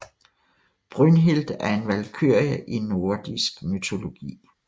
Brynhild er en valkyrie i nordisk mytologi